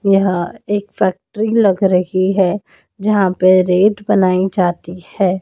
यह एक फैक्ट्री लग रही है यहां पे रेट बनाई जाती है।